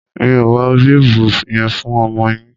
Mi ò wọ bíbù yen fún ọmọ yin